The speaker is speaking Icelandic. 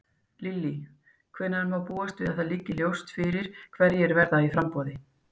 Lillý: Hvenær má búast við að það liggi svo ljóst fyrir hverjir verða í framboði?